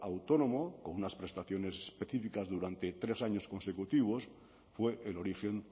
autónomo con unas prestaciones específicas durante tres años consecutivos fue el origen